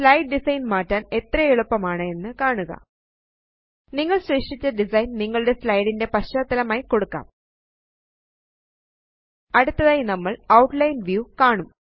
slide design മാറ്റാന് എത്രയെളുപ്പമാണ് എന്ന് കാണുക നിങ്ങൾ സൃഷ്ടിച്ച ഡിസൈൻ നിങ്ങളുടെ slideന്റെ പശ്ചാത്തലമായി കൊടുക്കാം അടുത്തതായി നമ്മള് ഔട്ട്ലൈൻ വ്യൂ കാണും